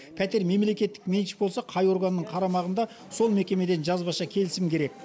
пәтер мемлекеттік меншік болса қай органның қарамағында сол мекемеден жазбаша келісім керек